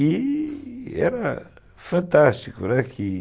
E era fantástico, né, que